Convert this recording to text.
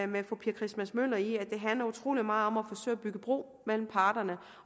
med fru pia christmas møller i at det handler utrolig meget om at forsøge at bygge bro mellem parterne